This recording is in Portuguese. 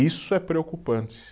Isso é preocupante.